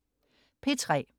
P3: